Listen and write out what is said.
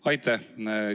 Aitäh!